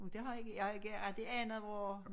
Men det har jeg har ikke rigtig anet hvor